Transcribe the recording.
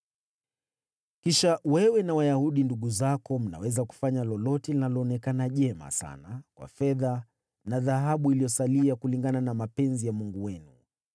Kisha wewe na Wayahudi ndugu zako mnaweza kufanya lolote linaloonekana jema sana kwa fedha na dhahabu zilizosalia, kulingana na mapenzi ya Mungu wenu.